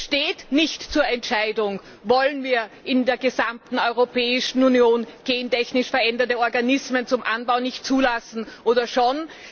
Es steht nicht zur Entscheidung, ob wir in der gesamten Europäischen Union gentechnisch veränderte Organismen zum Anbau nicht zulassen wollen oder schon.